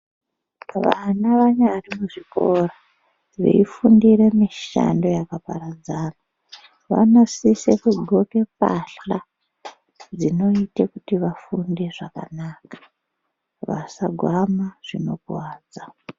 Vana vanyari muzvikora veifundire mishando yakaparadzana, vanosise kudxoke mbahla dzinoite kuti vafunde zvakanaka. Vasagwama zvinokuwadza.